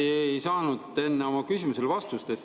Ma ikka ei saanud enne oma küsimusele vastust.